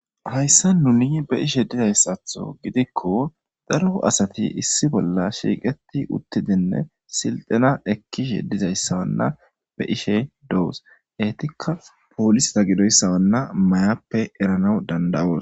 Hayssa nuni be ishe dizayssatho gidikko daro asati issi bolla shiiqeti uttidinne silxina ekkishe dizayssawanna be ishe doos eetikka poolisata gidoyssawanna mayappe erana danda'oos.